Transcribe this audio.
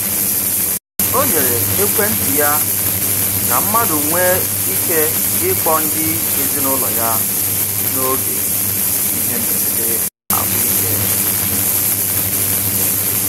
O nyere ekwentị ya ka mmadụ nwee ike ịkpọ ndị ezinụụlọ ya n'oge ihe mberede ahụike.